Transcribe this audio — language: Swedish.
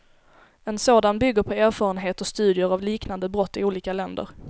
En sådan bygger på erfarenhet och studier av liknande brott i olika länder.